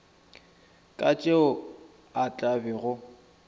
ka tšeo a tla bego